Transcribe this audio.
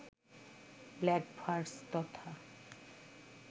blank verse তথা